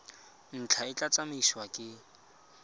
ntlha e tla tsamaisiwa ke